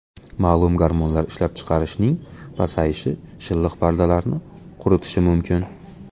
Ma’lum gormonlar ishlab chiqarishning pasayishi shilliq pardalarni quritishi mumkin.